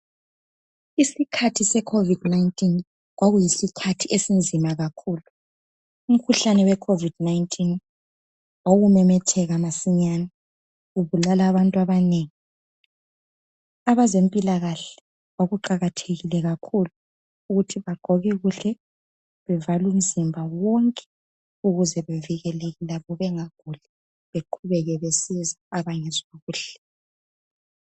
isikhathi se COVID 19 kwakuyisikhathi esinzima kakhulu umkhuhlane we COVID 19 wawumemetheka masinyane ubulala abantu abanengiabezempilakahle kuqakathekile kakhulu ukuthi bagqoke kuhle bevale umzimba wonke ukuze bevikeleke labo bengaguli beqhubeke besiza abngezwa kuhle